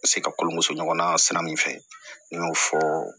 Se ka kɔɲɔmuso ɲɔgɔnna sira min fɛ n y'o fɔ